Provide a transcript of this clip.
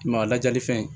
I ma ye a lajali fɛn